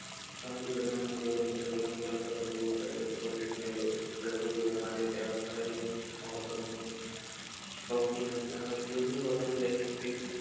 સામાજિક કલ્યાણ માટે લોક કલ્યાણ કર્મ કરતા પૈસા ભરવા માટે ત્યાં પડેલી opening tube